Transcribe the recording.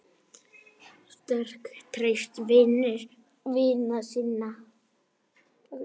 Sterk, traust, vinur vina sinna.